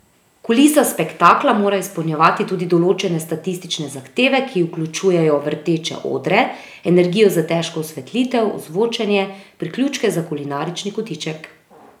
Kulisa spektakla mora izpolnjevati tudi določene statične zahteve, ki vključujejo vrteče odre, energijo za težko osvetlitev, ozvočenje, priključke za kulinarični kotiček ...